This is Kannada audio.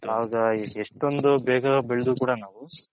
ಆಗ ಎಷ್ಟೊಂದ್ ಬೇಗ ಬೆಳದ್ರು ಕೂಡ ನಾವು